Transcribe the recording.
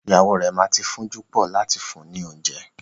Ìyàwó rẹ ma ti fún'júpọ̀ láti fún ni oúnjẹ.